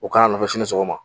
U kana nɔfɛ sini sogoma